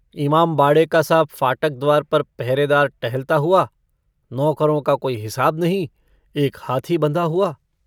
इमामबाड़े कासा फाटक द्वार पर पहरेदार टहलता हुआ नौकरों का कोई हिसाब नहीं एक हाथी बँधा हुआ।